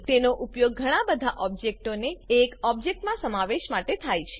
તેનો ઉપયોગ ઘણા બધા ઓબ્જેક્ટોને એક ઓબ્જેક્ટમાં સમાવેશ માટે થાય છે